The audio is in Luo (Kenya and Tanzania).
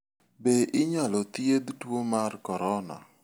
Be inyal thiedh tuo mar corona?